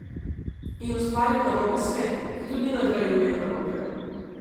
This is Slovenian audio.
In ustvaril narobe svet, ki tudi nagrajuje narobe.